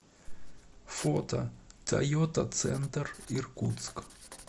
фото тойота центр иркутск